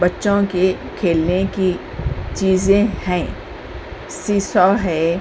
बच्चों के खेलने की चीजें हैं। सी सॉ है।